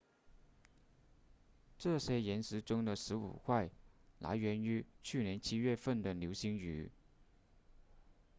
这些岩石中的十五块来源于去年七月份的流星雨